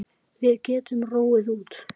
Við getum róið út.